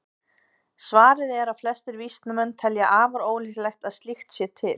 Svarið er að flestir vísindamenn telja afar ólíklegt að slíkt sé til.